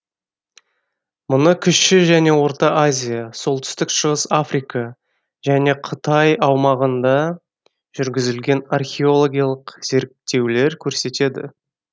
мұны кіші және орта азия солтүстік шығыс африка және қытай аумағында жүргізілген археологиялық зерттеулер көрсетеді